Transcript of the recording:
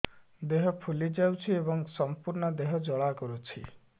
ଦେହ ଫୁଲି ଯାଉଛି ଏବଂ ସମ୍ପୂର୍ଣ୍ଣ ଦେହ ଜ୍ୱାଳା କରୁଛି